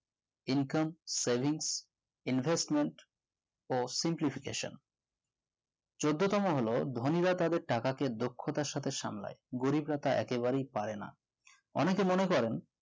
income savings investment চোদ্দো তম হলো ধনী রা তাদের টাকাকে দক্ষতার সাথে সামলায় গরিবরা তা একেবারেই পারেন না অনেকে মনে করেন